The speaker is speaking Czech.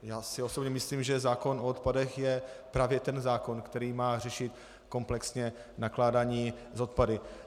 Já si osobně myslím, že zákon o odpadech je právě ten zákon, který má řešit komplexně nakládání s odpady.